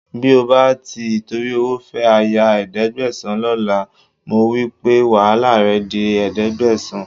Bí o bá ti ìtorí owó fẹ́ aya ẹ̀ẹ́dẹ́gbẹ̀sán lọ́la, mo wí pé wàhálà rẹ di ẹ̀ẹ́dẹ́gbẹ̀sán